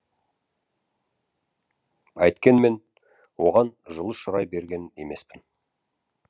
әйткенмен оған жылы шырай берген емеспін